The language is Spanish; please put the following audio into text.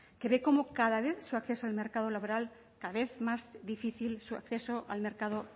que ve cómo cada vez su acceso al mercado laboral cada vez más difícil su acceso al mercado